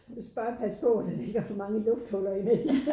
Du skal bare passe på at der ikke er for mange lufthuller i det